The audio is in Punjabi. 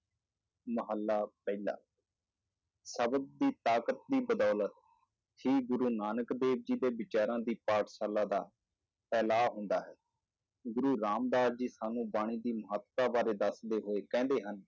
ਮਹੱਲਾ ਪਹਿਲਾ ਸ਼ਬਦ ਦੀ ਤਾਕਤ ਦੀ ਬਦੌਲਤ ਹੀ ਗੁਰੂ ਨਾਨਕ ਦੇਵ ਜੀ ਦੇ ਵਿਚਾਰਾਂ ਦੀ ਪਾਠਸ਼ਾਲਾ ਦਾ ਫੈਲਾਅ ਹੁੰਦਾ ਹੈ, ਗੁਰੂ ਰਾਮਦਾਸ ਜੀ ਸਾਨੂੰ ਬਾਣੀ ਦੀ ਮਹੱਤਤਾ ਬਾਰੇ ਦੱਸਦੇ ਹੋਏ ਕਹਿੰਦੇ ਹਨ,